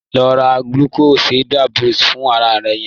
Lọ ra lucozade boost fún aláàárẹ̀ yẹñ.